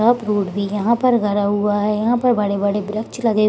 सब रोड भी यहाँ पर गड़ा हुआ है यहाँ पर बड़े-बड़े ब्रक्ष लगे --